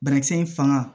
Banakisɛ in fanga